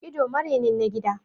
Ido marenin na gida